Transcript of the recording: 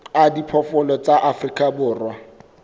a diphoofolo tsa afrika borwa